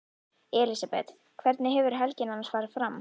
Elísabet: Hvernig hefur helgin annars farið fram?